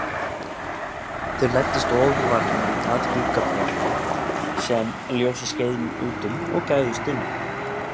Þeir læddust ofurvarlega að gluggaborunni sem ljósið skein út um og gægðust inn.